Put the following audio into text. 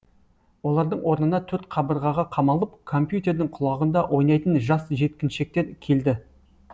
олардың орнына төрт қабырғаға қамалып компьютердің құлағында ойнайтын жас жеткіншектер келді